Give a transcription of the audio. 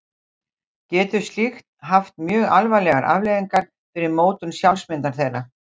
Getur slíkt haft mjög alvarlegar afleiðingar fyrir mótun sjálfsmyndar þeirra.